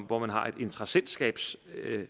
hvor man har en interessentskabsmodel